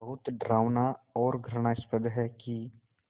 ये बहुत डरावना और घृणास्पद है कि